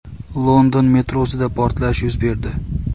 London metrosida portlash yuz berdi .